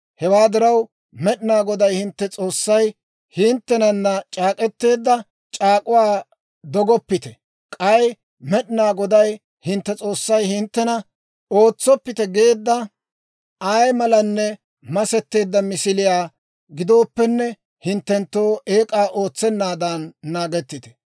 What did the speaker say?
Hewaa diraw, Med'inaa Goday hintte S'oossay hinttenana c'aak'k'eteedda c'aak'uwaa dogoppite. K'ay Med'inaa Goday hintte S'oossay hinttena ootsoppite geedda ay malan masetteedda misiliyaa gidooppenne hinttenttoo eek'aa ootsennaadan naagettite.